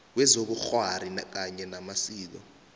wezobukghwari kanye namasiko